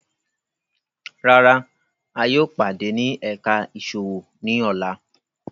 Rárá, a yóò pade ni ẹka iṣowo ni ọla